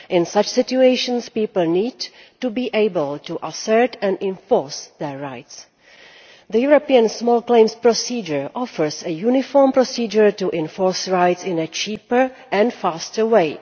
In such situations people need to be able to assert and enforce their rights. The European small claims procedure offers a uniform procedure to enforce rights in a cheaper and faster way.